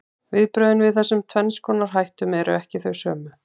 Viðbrögðin við þessum tvenns konar hættum eru ekki þau sömu.